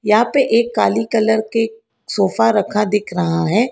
यहां पे एक काली कलर के सोफा रखा दिख रहा है।